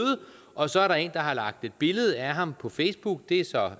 og så er der en har lagt et billede af ham på facebook det er så